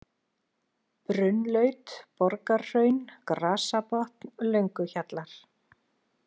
Brunnlaut, Borgarhraun, Grasabotn, Lönguhjallar